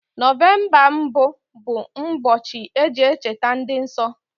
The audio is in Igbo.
November mbụ bụ mbochi eji echeta ndi nso